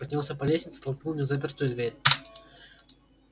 поднялся по лестнице толкнул незапертую дверь